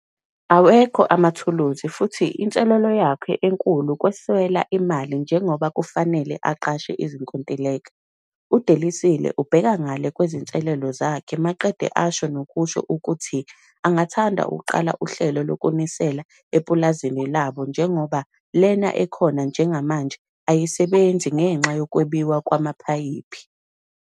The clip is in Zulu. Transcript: Awekho amathuluzi futhi inselelo yakhe enkulu ukweswela imali njengoba kufanele aqashe izikontileka. UDelisile ubheka ngale kwezinselelo zakhe maqede asho nokusho ukuthi angathanda ukuqala uhlelo lokunisela epulazini labo njengoba lena ekhona njengamanje ayisebenzi ngenxa yokwebiwa kwamaphayiphi.